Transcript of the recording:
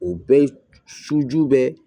O bɛɛ suju bɛ